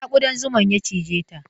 A ina ƙudan zuman ya cije ta?